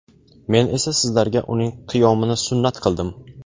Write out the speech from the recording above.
Men esa sizlarga uning qiyomini sunnat qildim.